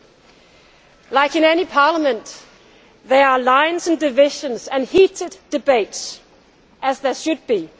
As in any parliament, there are lines of division and heated debates as there should be.